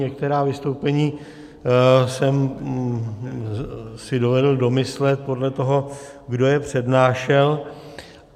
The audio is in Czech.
Některá vystoupení jsem si dovedl domyslet podle toho, kdo je přednášel.